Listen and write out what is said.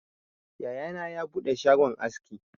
Yaya na ya buɗe shagon aski